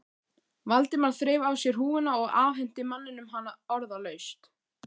Valdimar þreif af sér húfuna og afhenti manninum hana orðalaust.